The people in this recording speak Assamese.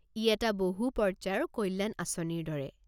ই এটা বহু পৰ্য্যায়ৰ কল্যাণ আঁচনিৰ দৰে।